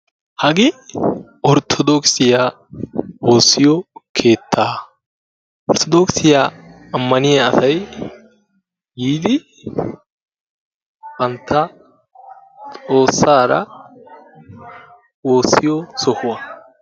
Hagee orttodokisiyaa woossiyo keettaa. Orttodokisiya ammaniya asay yiidi bantta xoossaara woossiyo sohuwaa.